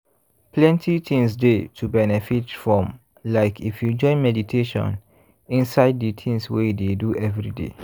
plenty things dey to benefit from like if you join meditation inside de tins wey you dey do everyday.